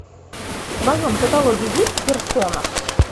в твоем каталоге есть персона